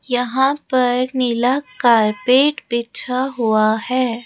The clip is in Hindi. यहां पर नीला कारपेट बीछा हुआ है।